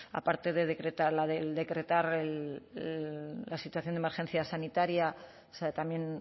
aparte de decretar la del decretar la situación de emergencia sanitaria o sea también